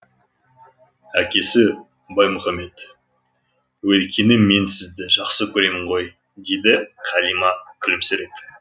әкесі баймұхамед өйткені мен сізді жақсы көремін ғой дейді қалима күлімсіреп